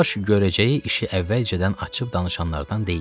Diribaş görəcəyi işi əvvəlcədən açıb danışanlardan deyildi.